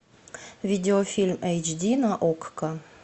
видео фильм эйч ди на окко